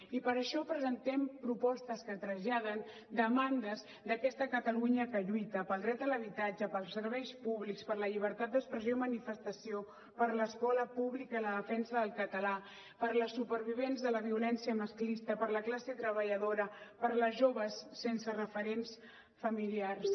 i per això presentem propostes que traslladen demandes d’aquesta catalunya que lluita pel dret a l’habitatge pels serveis públics per la llibertat d’expressió i manifestació per l’escola pública i la defensa del català per les supervivents de la violència masclista per la classe treballadora per les joves sense referents familiars